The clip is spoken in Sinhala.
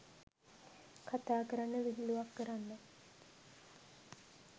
කථාකරන්න විහිලුවක් කරන්න